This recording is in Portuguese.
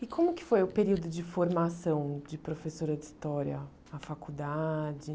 E como que foi o período de formação de professora de História na faculdade?